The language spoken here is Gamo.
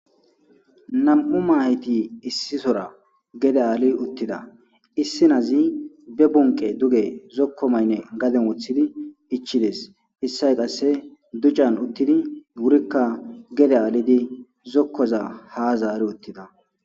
nam7u mahiti issisora gede aali uttida issinazi be bunke duge zokko maynne gaden wothidi ichides issay qasse duccan uttidi wurikka gede aalidi zokkoza ha zaari uttida